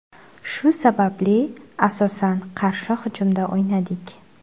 Shu sababli, asosan qarshi hujumda o‘ynadik.